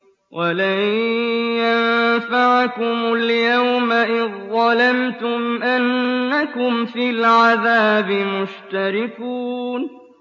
وَلَن يَنفَعَكُمُ الْيَوْمَ إِذ ظَّلَمْتُمْ أَنَّكُمْ فِي الْعَذَابِ مُشْتَرِكُونَ